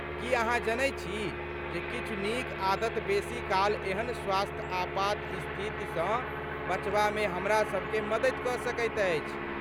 की अहाँ जनैत छी जे किछु नीक आदत बेसी काल एहन स्वास्थ्य आपात स्थितिसँ बचबामे हमरासभके मदति कऽ सकैत अछि?